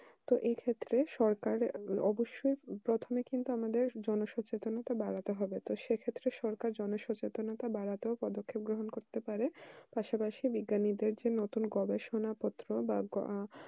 তো এই ক্ষেত্রে সরকার অবশ্যই প্রথমে কিন্তু আমাদের জনসচেতনতা বাড়াতে হবে সে ক্ষেত্রে সরকার জনসচেতনতা বাড়াতে পদক্ষেপ পাশাপাশি যে বিজ্ঞানীদের নতুন গবেষণা পত্র বা